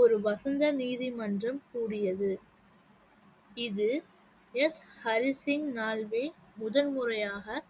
ஒரு வசந்த நீதிமன்றம் கூடியது இது எஸ் ஹரி சிங் நல்வே முதன் முறையாக